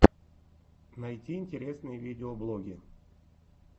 найти интересные видеоблоги